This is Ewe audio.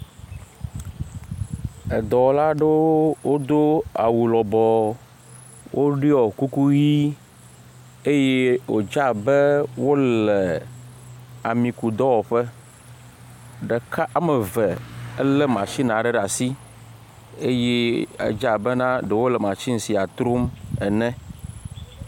ɛdɔwo lado wodo awu lɔbɔɔ woduɔ kuku ʋi eye wotsa abɛ wolɛ amikudɔwoƒɛ deka ameve ɛlɛ machine adɛ de asi eye egya abe na do olɛ machines a trom ŋne.